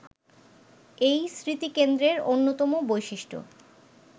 এই স্মৃতিকেন্দ্রের অন্যতম বৈশিষ্ট্য